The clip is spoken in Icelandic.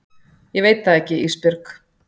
Ég veit það ekki Ísbjörg.